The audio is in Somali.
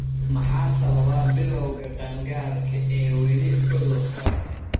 Maxaa sababa bilawga qaangaarka ee weli cudurka?